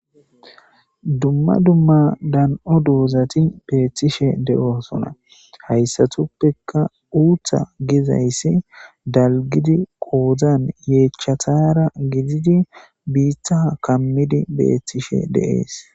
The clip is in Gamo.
Dumma dumma dan'o dizati beetishe de'osona, haysatuppeka uutha gizaysi dalgidi kootan yeechatara gdiddi biita kamidi beetishe de'es.